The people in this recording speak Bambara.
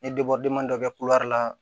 Ne dɔ bɛ la